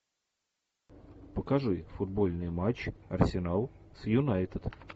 покажи футбольный матч арсенал с юнайтед